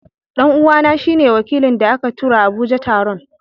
dan'uwana shi ne wakilin da aka tura Abuja taron.